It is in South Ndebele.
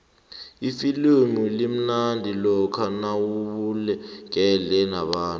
ifilimu limnandi lokha nawubukele nabantu